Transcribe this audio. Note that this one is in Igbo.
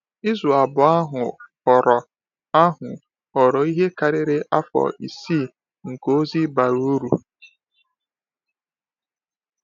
Izu abụọ ahụ ghọrọ ahụ ghọrọ ihe karịrị afọ isii nke ozi bara uru.